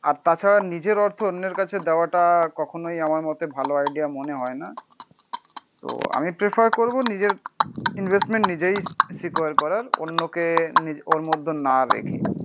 আর তাছাড়া নিজের অর্থ অন্যের কাছে দেওয়াটা কখনোই আমার মতে ভালো আইডিয়া মনে হয়না। তো আমি প্রেফার করবো নিজের ইনভেস্টমেন্ট নিজেই সিকিউর করার অন্যকে ওর মধ্যে না রেখে